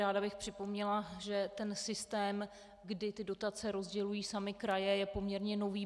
Ráda bych připomněla, že ten systém, kdy ty dotace rozdělují samy kraje, je poměrně nový.